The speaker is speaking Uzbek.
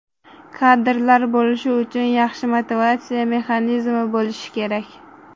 Kadrlar bo‘lishi uchun yaxshi motivatsiya mexanizmi bo‘lishi kerak.